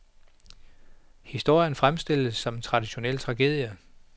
Historien fremstilles som en traditionel tragedie.